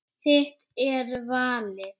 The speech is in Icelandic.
Þitt er valið.